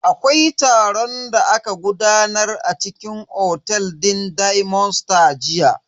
Akwai taron da aka gudanar a cikin otel din diamond stars jiya.